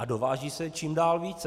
A dováží se čím dál více.